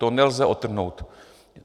To nelze odtrhnout!